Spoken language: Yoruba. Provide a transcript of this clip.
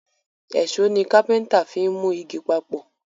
Èṣó ni kápẹ́ńtà fín mú ìgi papọ